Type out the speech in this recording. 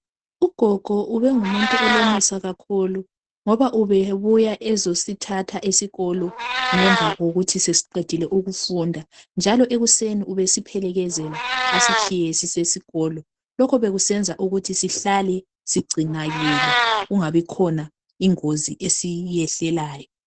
Ugogo ubengumuntu olomusa kakhulu, ngoba ubebuya ezosithatha esikolo, ngemva kokuthi sesiqedile ukufunda, jealous ekuseni ubesiphelekezela asitshiye sisesikolo. Lokho bekusenza ukuthi sihlale sigcinakele. Kungabikhona ingozi esiyehlelayo.